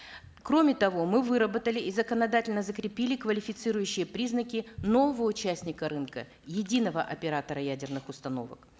кроме того мы выработали и законодательно закрепили квалифицирующие признаки нового участника рынка единого оператора ядерных установок